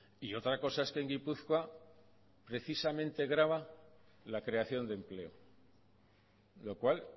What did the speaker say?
y otra cosa es que en gipuzkoa precisamente grava la creación de empleo lo cual